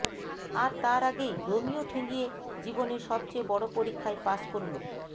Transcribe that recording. আর তার আগেই রোমিও ঠেঙিয়ে জীবনের সবচেয়ে বড় পরীক্ষায় পাস করল